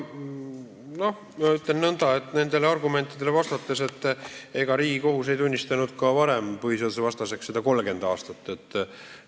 Neid argumente kommenteerides ma ütlen nõnda, et ega Riigikohus ei tunnistanud varem seda 30 aastat põhiseadusvastaseks.